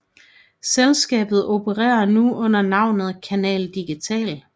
Selskabet opererer nu under navnet Canal Digital